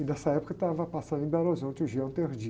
E nessa época estava passando em Belo Horizonte o.